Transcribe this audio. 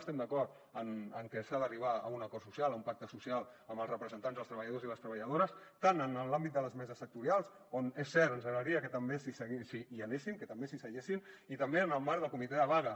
estem d’acord amb que s’ha d’arribar a un acord social a un pacte social amb els representants dels treballadors i les treballadores tant en l’àmbit de les meses sectorials on és cert ens agradaria que també hi anessin que també s’hi asseguessin i també en el marc del comitè de vaga